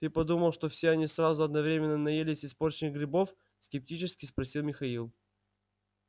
ты подумал что все они сразу одновременно наелись испорченных грибов скептически спросил михаил